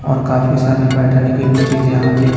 और काफी सारे बैठने की भी चीज यहां पे--